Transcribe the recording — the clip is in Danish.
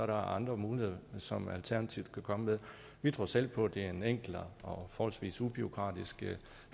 der andre muligheder som alternativet kan komme med vi tror selv på at det er en enklere og forholdsvis ubureaukratisk